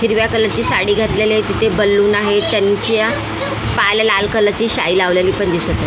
हिरव्या कलर ची साडी घातलेली आहे तिथे बलून आहेत त्यांच्या पायाला लाल कलर ची शाई लावलेली पण दिसत आहे.